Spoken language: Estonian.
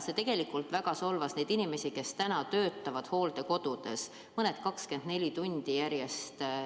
See tegelikult väga solvas neid inimesi, kes töötavad hooldekodudes, mõned 24 tundi järjest.